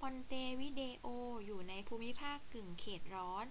มอนเตวิเดโออยู่ในภูมิภาคกึ่งเขตร้อน